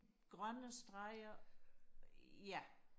grønne streger ja